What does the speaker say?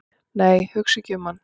"""nei, hugsa ekki um hann!"""